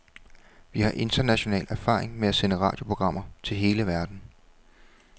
Vi har international erfaring med at sende radioprogrammer til hele verden.